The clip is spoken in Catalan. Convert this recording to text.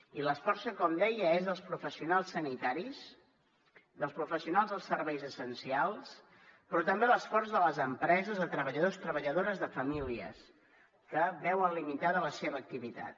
i l’esforç que com deia és dels professionals sanitaris dels professionals dels serveis essencials però també l’esforç de les empreses de treballadors i treballadores de famílies que veuen limitada la seva activitat